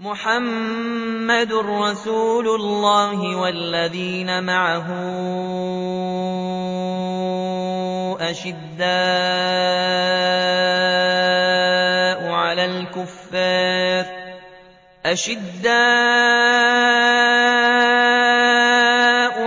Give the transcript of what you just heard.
مُّحَمَّدٌ رَّسُولُ اللَّهِ ۚ وَالَّذِينَ مَعَهُ أَشِدَّاءُ